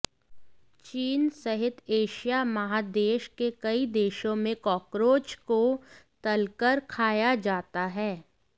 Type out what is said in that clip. चीन सहित एशिया महादेश के कई देशों में कॉकरोच को तल कर खाया जाता है